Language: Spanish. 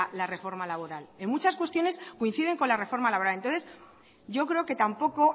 la reforma laboral en muchas cuestiones coinciden con la reforma laboral entonces yo creo que tampoco